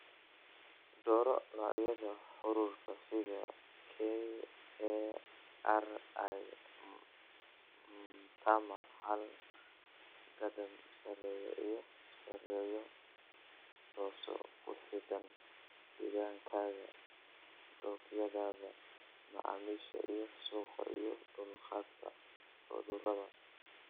"Dooro noocyada haruurka sida, KARI Mtama-hal, Gadam, Serena iyo Seredo, taasoo ku xidhan deegaankaaga, dookhyada macaamiisha iyo suuqa iyo dulqaadka cudurada."